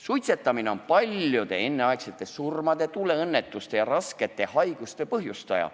Suitsetamine on paljude enneaegsete surmade, tuleõnnetuste ja raskete haiguste põhjustaja.